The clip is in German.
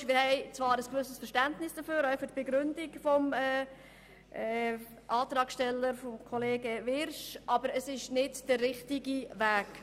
Wir haben zwar ein gewisses Verständnis dafür, auch für die Begründung von Grossrat Wyrsch, aber das ist nicht der richtige Weg.